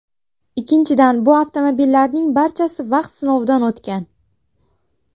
Ikkinchidan, bu avtomobillarning barchasi vaqt sinovidan o‘tgan.